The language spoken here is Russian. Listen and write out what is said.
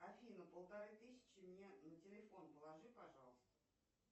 афина полторы тысячи мне на телефон положи пожалуйста